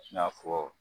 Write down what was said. I n'a fɔ